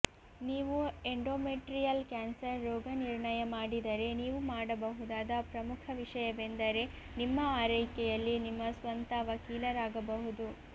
ನೀವು endometrial cancer ರೋಗನಿರ್ಣಯ ಮಾಡಿದರೆ ನೀವು ಮಾಡಬಹುದಾದ ಪ್ರಮುಖ ವಿಷಯವೆಂದರೆ ನಿಮ್ಮ ಆರೈಕೆಯಲ್ಲಿ ನಿಮ್ಮ ಸ್ವಂತ ವಕೀಲರಾಗಬಹುದು